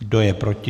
Kdo je proti?